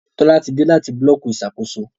Tola tí dé láti Búlọ̀kì Ìṣàkóso.